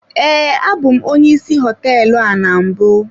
Ee, abụ m onye ịsị nlekọta hoteelu a na mbụ.